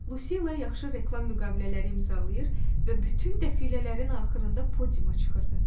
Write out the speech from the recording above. Lucila yaxşı reklam müqavilələri imzalayır və bütün dəfilələrin axırında podiuma çıxırdı.